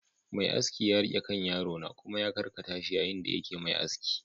Mai aski ya riƙe kan yaro na kuma ya karkata shi yayin da yake Mai aski